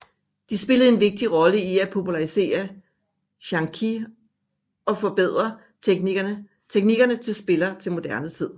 De spillede en vigtig rolle i at popularisere xiangqi og forbedre teknikker til spiller til moderne tid